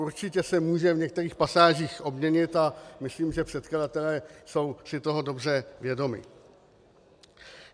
Určitě se může v některých pasážích obměnit a myslím, že předkladatelé jsou si toho dobře vědomi.